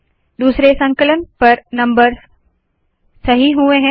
दूसरे संकलन पर नम्बर्स सही हुए है